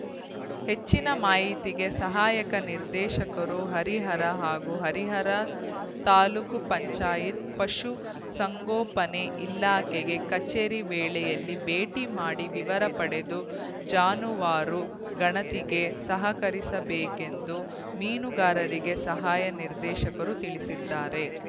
ಹೆಚ್ಚಿನ ಮಾಹಿತಿಗೆ ಸಹಾಯಕ ನಿರ್ದೇಶಕರುಹರಿಹರ ಹಾಗು ಹರಿಹರ ತಾಲೂಕು ಪಶು ಸಂಗೋಪನೆ ಇಲಾಖೆಗೆ ಕಚೇರಿ ವೇಳೆಯಲ್ಲಿ ಭೇಟಿ ಮಾಡಿ ವಿವರ ಪಡೆದು ಜಾನುವಾರು ಗಣತಿಗೆ ಸಹಕರಿಸಬೇಕೆಂದು ಮೀನುಗಾರಿಕೆ ಸಹಾಯಕ ನಿರ್ದೇಶಕರು ತಿಳಿಸಿದ್ದಾರೆ